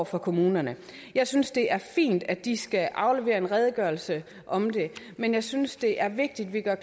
for kommunerne jeg synes det er fint at de skal aflevere en redegørelse om det men jeg synes det er vigtigt at